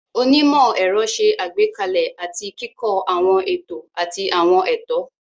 Onímọ̀-ẹ̀rọ ṣe àgbékalẹ̀ àti kíkọ́ àwọn ètò àti àwọn ètò.